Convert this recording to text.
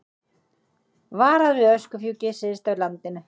Varað við öskufjúki syðst á landinu